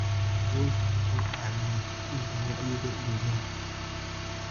Kalluunku wuxuu caawiyaa kordhinta wacyiga deegaanka.